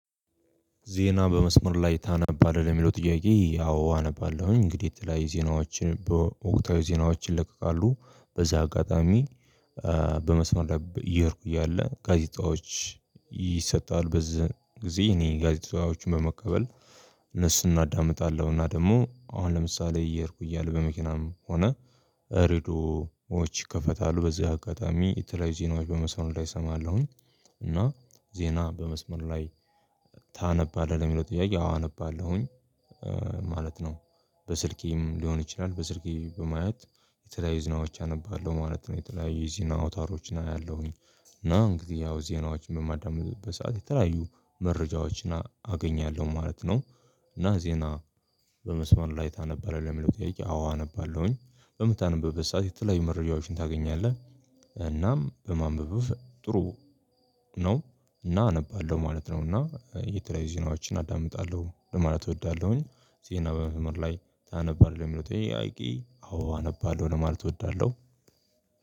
ዜና በመስመር ላይ ታነባለህ? ለሚለው ጥያቄ ያው አነባለሁኝ እንግዲህ የተለያየ ዜናዎችን በወቅታዊ ዜናዎች ይለቀቃሉ በዚህ አጋጣሚ በመስመር እየሄድኩ እያለ ጋዜጣዎች ይሰጣል በዚህ ጊዜ እኔ ጋዜጣዎችን በመቀበል እነሱን አናዳምጣለሁ እና ደግሞ አሁን ለምሳሌ እየሄድኩ እያለ በመኪናም ሆነ እርዶዎች ይከፈታሉ በዚህ አጋጣሚ የተለያዩ ዜናዎች በመስመር ላይ እሰማለሁኝ፤ እና ዜና በመስመር ላይ ታነባለህ ለሚለው ጥያቄ አዎ አነባለሁኝ ማለት ነው። በስልኬም ሊሆን ይችላል በስልኬ በማየት የተለያዩ ዜናዎች አነባለሁ ማለት ነው የተለያዩ የዜና አውታሮችን አያለሁኝ እና እንግዲህ ያው ዜናዎችን በማዳመጥበት ሰዓት የተለያዩ መረጃዎችን አገኛለሁ ማለት ነው እና ዜና በመስመር ላይ ታነባለህ ለሚለው ጠይቄ አዎ አነባለሁኝ በምታነበበ ሰዓት የተለያዩ መረጃዎችን ታገኛለህ እናም በማንበብ ጥሩ ነው እና አነባለሁ ማለት ነው እና የተለያዩ ዜናዎችን አዳምጣለሁ ለማለት እወዳለሁኝ። ዜና በመስመር ላይ ታነባለህ ለሚለው ጥያቄ አዎ አነባለሁ ለማለት እወዳለሁ።